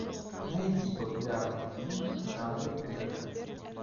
найди популярные фильмы в жанре ужасы